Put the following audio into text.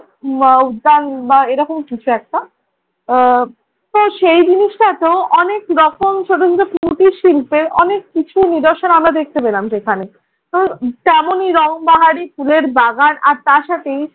উদ্যান বা এরকম কিছু একটা। আহ তো সেই জিনিসটাতো অনেক রকম ছোট ছোট কুটির শিল্পের অনেক কিছু নিদর্শন আমরা দেখতে পেলাম সেখানে। তো তেমনই রংবাহারি ফুলের বাগান আর তার সাথেই